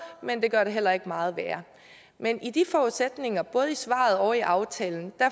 men det gør det heller ikke meget værre men i de forudsætninger både i svaret og i aftalen